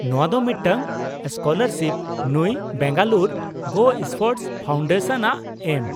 ᱼᱱᱚᱶᱟ ᱫᱚ ᱢᱤᱫᱴᱟᱝ ᱥᱠᱚᱞᱟᱨᱥᱤᱯ ᱱᱩᱭ ᱵᱮᱝᱜᱟᱞᱩᱨᱩ ᱜᱳᱥᱯᱳᱨᱴᱥ ᱯᱷᱟᱣᱩᱱᱰᱮᱥᱚᱱᱼᱟᱜ ᱮᱢ ᱾